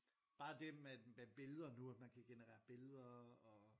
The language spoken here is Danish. Bare det med med billeder nu at man kan generere billeder og